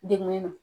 Degun don